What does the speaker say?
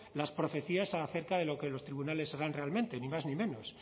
las profecías acerca de lo que los tribunales harán realmente ni más ni menos